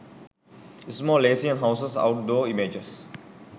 small asian houses out door images